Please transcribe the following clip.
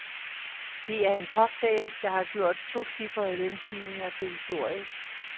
Det er den cocktail, der har gjort tocifrede lønstigninger til historie.